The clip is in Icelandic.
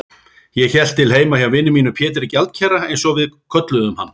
Ég hélt til heima hjá vini mínum Pétri gjaldkera, einsog við kölluðum hann.